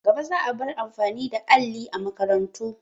Gaba za a bar amfani da alli a makarantu.